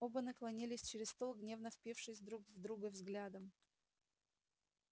оба наклонились через стол гневно впившись друг в друга взглядом